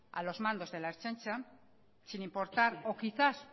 a los mandos del ertzaintza sin importar o quizás